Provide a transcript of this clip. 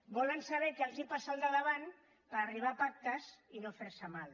volen saber què els passa al de davant per arribar a pactes i no fer se mal